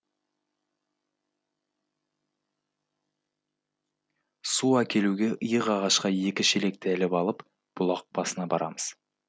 су әкелуге иық ағашқа екі шелекті іліп алып бұлақ басына барамыз